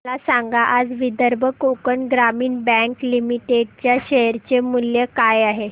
मला सांगा आज विदर्भ कोकण ग्रामीण बँक लिमिटेड च्या शेअर चे मूल्य काय आहे